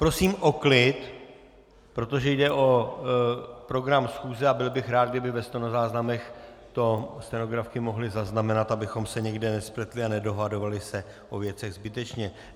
Prosím o klid, protože jde o program schůze a byl bych rád, kdyby ve stenozáznamech to stenografky mohly zaznamenat, abychom se někde nespletli a nedohadovali se o věcech zbytečně.